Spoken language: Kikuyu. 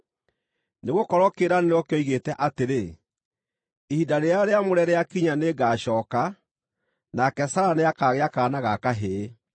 Nĩgũkorwo kĩĩranĩro kĩoigĩte atĩrĩ: “Ihinda rĩrĩa rĩamũre rĩakinya nĩngacooka, nake Sara nĩakagĩa kaana ga kahĩĩ.”